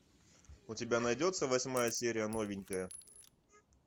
у тебя найдется восьмая серия новенькая